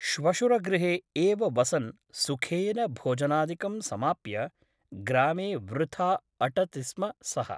श्वशुरगृहे एव वसन् सुखेन भोजनादिकं समाप्य ग्रामे वृथा अटति स्म सः ।